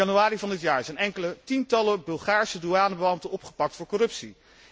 In januari van dit jaar zijn enkele tientallen Bulgaarse douanebeambten opgepakt voor corruptie.